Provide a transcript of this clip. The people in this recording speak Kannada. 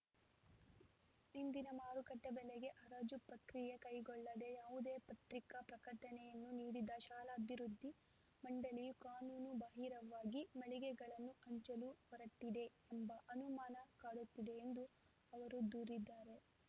ಇಂದಿನ ಮಾರುಕಟ್ಟೆಬೆಲೆಗೆ ಹರಾಜು ಪ್ರಕ್ರಿಯೆ ಕೈಗೊಳ್ಳದೇ ಯಾವುದೇ ಪತ್ರಿಕಾ ಪ್ರಕಟಣೆಯನ್ನೂ ನೀಡದ ಶಾಲಾಭಿವೃದ್ಧಿ ಮಂಡಳಿಯು ಕಾನೂನು ಬಾಹಿರವಾಗಿ ಮಳಿಗೆಗಳನ್ನು ಹಂಚಲು ಹೊರಟಿದೆ ಎಂಬ ಅನುಮಾನ ಕಾಡುತ್ತಿದೆ ಎಂದು ಅವರು ದೂರಿದ್ದಾರೆ